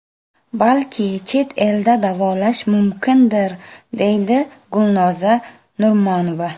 Balki chet elda davolash mumkindir, deydi Gulnoza Nurmanova .